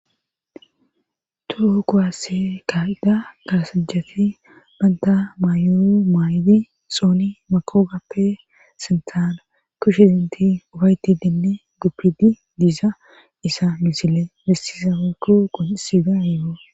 Toho kowasse ka7ida kalasachati banta mayo maayidi xooni makoogappe sintaana kushe dinti ufaytidinne guppidi diizayisa misile bessiza woykko qonisidayeo.